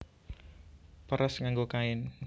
Peres nganggo kain